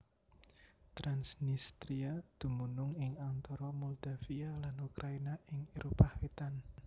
Transnistria dumunung ing antara Moldavia lan Ukraina ing Éropah Wétan